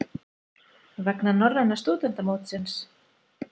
Vegna norræna stúdentamótsins?